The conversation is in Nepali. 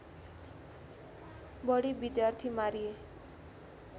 बढी विद्यार्थि मारिए